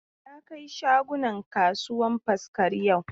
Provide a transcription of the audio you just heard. Ya kai shagunan kasuwan Faskari yau.